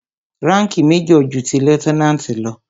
Ránkìì major ju ti lieutenant lọ.